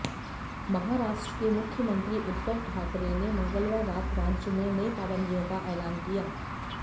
महाराष्ट्र के मुख्यमंत्री उद्धव ठाकरे ने मंगलवार रात राज्य में नई पाबंदियों का ऐलान किया